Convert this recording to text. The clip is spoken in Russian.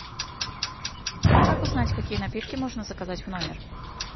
как узнать какие напитки можно заказать в номер